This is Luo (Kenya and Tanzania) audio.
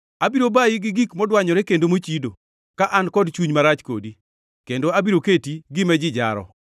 Abiro bayi gi gik modwanyore kendo mochido, ka an kod chuny marach kodi, kendo abiro keti gima ji jaro.